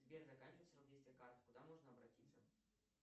сбер заканчивается срок действия карты куда можно обратиться